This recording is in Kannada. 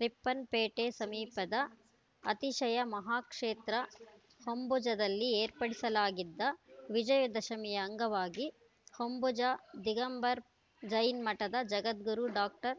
ರಿಪ್ಪನ್‌ಪೇಟೆ ಸಮೀಪದ ಅತಿಶಯ ಮಹಾಕ್ಷೇತ್ರ ಹೊಂಬುಜದಲ್ಲಿ ಏರ್ಪಡಿಸಲಾಗಿದ್ದ ವಿಜಯದಶಮಿಯ ಅಂಗವಾಗಿ ಹೊಂಬುಜ ದಿಗಂಬರ್‌ ಜೈನ್‌ ಮಠದ ಜಗದ್ಗುರು ಡಾಕ್ಟರ್